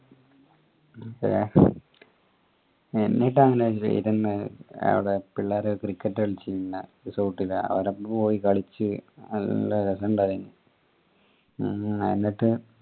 എന്നിട്ട് അങ്ങനെ ഇരുന്ന് അവിടെ പിള്ളേരെ cricket കളിച് പിന്നെ resort ലെ അവരപ്പോ പോയി കളിച് നല്ല രസഇണ്ടായന് ഹും എന്നിട്ട്